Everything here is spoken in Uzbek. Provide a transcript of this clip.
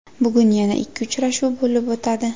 Bugun yana ikki uchrashuv bo‘lib o‘tadi.